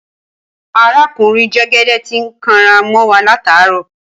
Aràkúnrin jẹgẹdẹ ti ń kàn rá mọ wà làtá rọ.